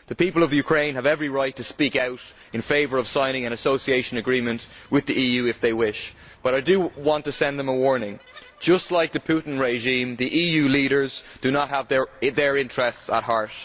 The people of the Ukraine have every right to speak out in favour of signing an association agreement with the EU if they wish, but I do want to send them a warning. Just like the Putin regime, the EU leaders do not have their interests at heart.